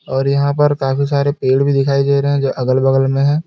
और यहां पर काफी सारे पेड़ भी दिखाई दे रहे हैं जो अगल बगल में है।